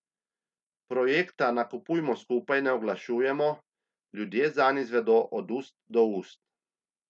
Projekta Nakupujmo skupaj ne oglašujemo, ljudje zanj izvedo od ust do ust.